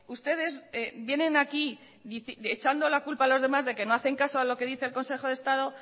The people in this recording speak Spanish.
ustedes vienen aquí echando la culpa a los demás de que no hacen caso a lo que dice el consejo de estado